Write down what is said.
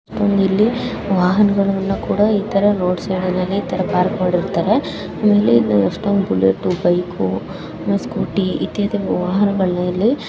ಇಲ್ಲಿ ವಾಹನಗಳನ್ನು ಕೂಡ ಇತರ ರೋಡ್ ಸೈಡ್ ಅಲ್ಲಿ ಈ ತರ ಪಾರ್ಕ್ ಮಾಡಿರ್ತಾರೆ ಇಲ್ಲಿ ಎಷ್ಟೊಂದ್ ಬುಲೆಟು ಬೈಕ್ ಸ್ಕೂಟರ್ ಇತಿಹಾಸಿ ವಾಹನಗಳನ್ನು ಇಲ್ಲಿ.